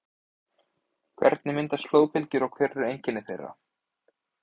Hvernig myndast flóðbylgjur og hver eru einkenni þeirra?